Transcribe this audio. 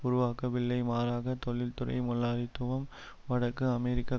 உருவாக்கவில்லை மாறாக தொழிற்துறை முலாளித்துவம் வடக்கு அமெரிக்க